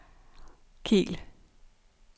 Kiel